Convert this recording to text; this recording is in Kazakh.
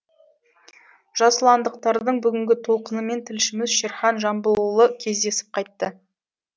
жасұландықтардың бүгінгі толқынымен тілшіміз шерхан жамбылұлы кездесіп қайтты